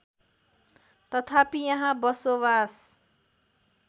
तथापि यहाँ बसोवास